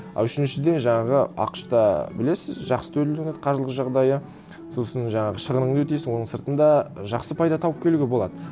ы үшіншіден жаңағы ақш та білесіз жақсы төленеді қаржылық жағдайы сосын жаңағы шығыныңды өтейсің оның сыртында жақсы пайда тауып келуге болады